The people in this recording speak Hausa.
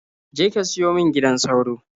Je ka siyo min gidan sauro.